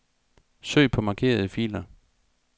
Søg på markerede filer.